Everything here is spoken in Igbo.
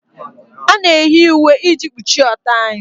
A na-eyi uwe iji kpuchie ọtọ anyị